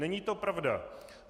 Není to pravda.